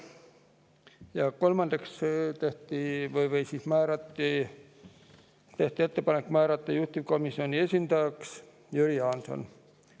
Ja kolmandaks tehti ettepanek määrata juhtivkomisjoni esindajaks Jüri Jaanson.